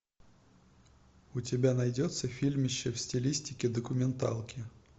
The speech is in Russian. у тебя найдется фильмище в стилистике документалки